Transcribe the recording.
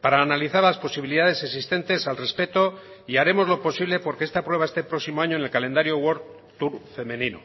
para analizar las posibilidades existentes al respecto y haremos lo posible por que esta prueba esté el próximo año en el calendario world tour femenino